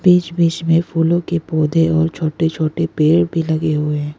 बीच बीच में फूलों के पौधे और छोटे छोटे पेड़ भी लगे हुए हैं।